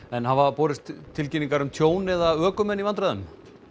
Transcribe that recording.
en hafa borist tilkynningar um tjón eða ökumenn í vandræðum